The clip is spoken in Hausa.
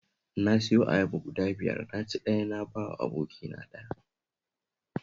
Na siyo ayaba guda biyar na ci ɗaya na ba wa abokina ɗaya